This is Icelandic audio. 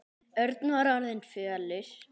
Örn var orðinn fölur.